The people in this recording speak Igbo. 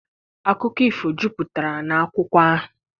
Akụkọ ifo jupụtara n'akwụkwọ ahụ.